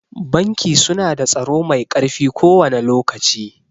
Banki su na da tsaro mai ƙarfi kowane lokaci